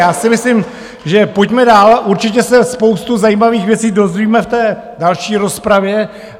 Já si myslím, že pojďme dál, určitě se spoustu zajímavých věcí dozvíme v té další rozpravě.